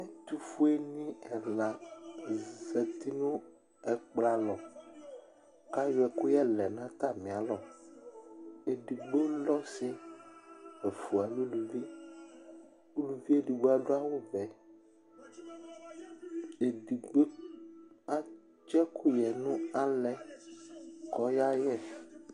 ɛtʊfuenɩ ɛla azati nʊ ɛkplɔ alɔ, ayɔ ɛkʊyɛ lɛ nʊ atamialɔ edigbo ɔsi, ɛfua eluvi, uluvi edigbo adʊ awu vɛ edigbo atsi ɛkʊyɛ nʊ utule kʊ ɔya yɛ